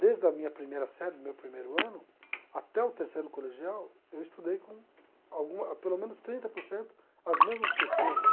Desde a minha primeira série, meu primeiro ano, até o terceiro colegial, eu estudei com alguma pelo menos trinta por cento as mesmas pessoas.